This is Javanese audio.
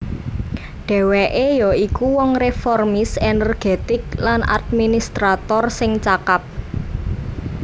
Dhèwèké ya iku wong reformis energetik lan administrator sing cakap